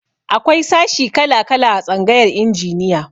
Akwai sashi kala-kala a tsangayar injiniya.